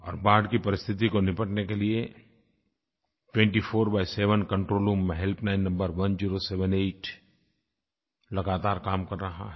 और बाढ़ की परिस्थिति को निपटने के लिये 24×7 कंट्रोल रूम हेल्पलाइन नंबर 1078 लगातार काम कर रहा है